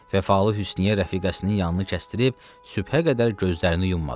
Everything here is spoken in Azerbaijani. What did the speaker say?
Vəfalı Hüsnüyyə rəfiqəsinin yanını kəstirdib sübhə qədər gözlərini yumadı.